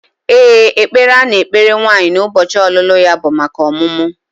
Ee, ekpere a na-ekpere nwaanyị n'ụbọchị ọlụlụ ya bụ maka ọmụmụ